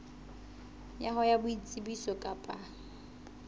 ya hao ya boitsebiso kapa